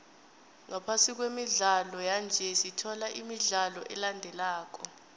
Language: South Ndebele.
ngaphasi kwemidlalo yanje sithola imidlalo elandelako